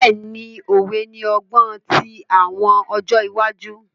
Bẹ́ẹ̀ni, Òwe ni ọgbọn ti awọn ọjọ iwaju.